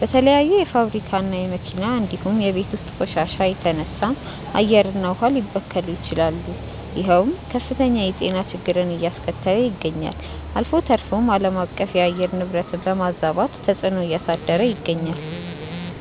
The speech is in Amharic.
በተለያዩ የፋብሪካ እና የመኪና እንዲሁም የቤት ውስጥ ቆሻሻ የተነሳም አየር እና ውሃ ሊበከሉ ይችላሉ ይሄውም ከፍተኛ የጤና ችግርን አያስከተለ ይገኛል። አልፎ ተርፎም አለማቀፍ የአየር ንብረትን በማዛባት ተፅዕኖ እያሳደረ ይገኛል።